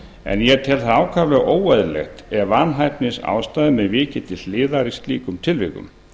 en ég tel það ákaflega óeðlilegt ef vanhæfisástæðum er vikið til hliðar í slíkum tilvikum